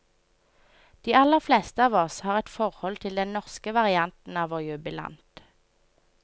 De aller fleste av oss har et forhold til den norske varianten av vår jubilant.